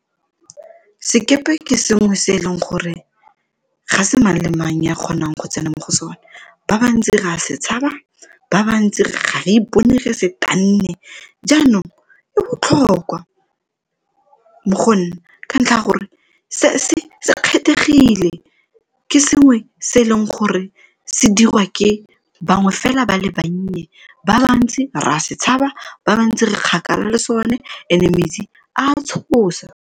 Sekepe ke sengwe se e leng gore ga se mang le mang ya kgonang go tsena mo go sone ba bantsi ra se tshaba, ba bantsi ga re ipone re se tanne, jaanong e botlhokwa mo go nna ka ntlha ya gore se se kgethegile ke sengwe se e leng gore se dirwa ke bangwe fela ba le bannye ba bantsi re a se tshaba, ba bantsi re kgakala le so ne e ne metsi a tshosa.